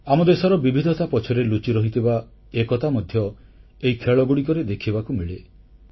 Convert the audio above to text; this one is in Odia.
ଆମ ଦେଶର ବିବିଧତା ପଛରେ ଲୁଚିରହିଥିବା ଏକତା ମଧ୍ୟ ଏହି ଖେଳଗୁଡ଼ିକରେ ଦେଖିବାକୁ ମିଳେ